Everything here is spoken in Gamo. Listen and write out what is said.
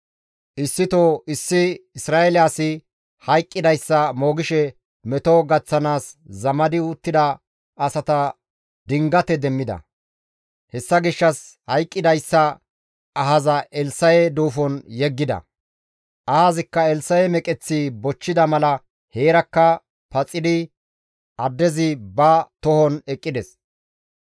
Issito issi Isra7eele asi hayqqidayssa moogishe meto gaththanaas zamadi uttida asata dingate demmida; hessa gishshas hayqqidayssa ahaza Elssa7e duufon yeggida; ahazikka Elssa7e meqeththi bochchida mala heerakka paxidi addezi ba tohon eqqides.